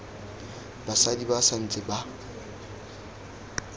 basadi ba sa ntse ba